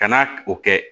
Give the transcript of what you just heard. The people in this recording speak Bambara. Ka na o kɛ